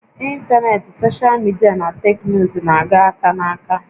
Ịntanetị, soshal midia na teknụzụ na-aga aka na aka